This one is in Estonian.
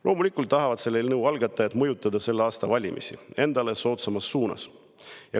" Loomulikult tahavad selle eelnõu algatajad mõjutada selle aasta valimisi endale soodsamas suunas.